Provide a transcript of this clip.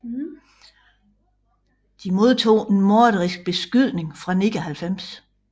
De modtog en morderisk beskydning fra 99